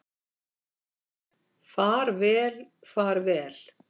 Far vel, far vel.